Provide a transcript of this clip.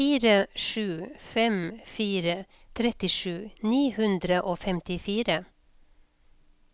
fire sju fem fire trettisju ni hundre og femtifire